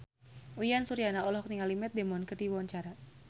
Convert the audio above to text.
Uyan Suryana olohok ningali Matt Damon keur diwawancara